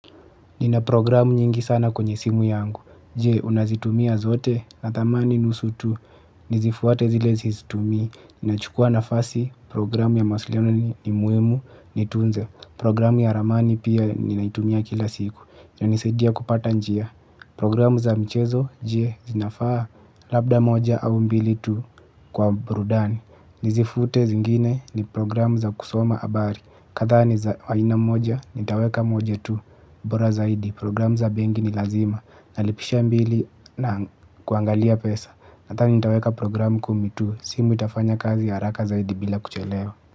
Nina programu nyingi sana kwenye simu yangu je ninazitumia zota nadhani nusu tu. Nizifuate zile zizitumia, nina chukua nafasi programu ya maslione ni muimu ni tunze. Programu ya ramani pia ninaitumia kila siku, nina nisaidia kupata njia. Programu za mchezo, je zinafaa, labda moja au mbili tu kwa burudani. Nizifute zingine ni programu za kusoma abari, katha ni za aina moja, nitaweka moja tu bora zaidi programu za bengi ni lazima. Nalipisha mbili na kuangalia pesa. Nadhani nitaweka programu kumi tu. Simu itafanya kazi haraka zaidi bila kuchelewa.